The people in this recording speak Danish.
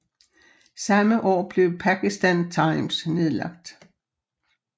Samme år blev Pakistan Times nedlagt